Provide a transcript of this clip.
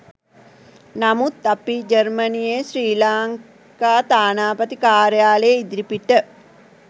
නමුත් අපි ජර්මනියේ ශ්‍රී ලංකා තානාපති කාර්යාලය ඉදිරිපිට